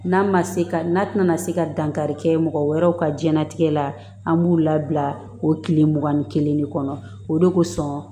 N'a ma se ka n'a tɛna se ka dankari kɛ mɔgɔ wɛrɛw ka jiyɛn latigɛ la an b'u labila o kile mugan ni kelen de kɔnɔ o de kosɔn